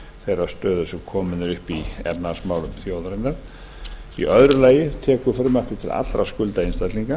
þeirrar stöðu sem komin er upp í efnahagsmálum þjóðarinnar í öðru lagi tekur frumvarpið til allra skulda einstaklinga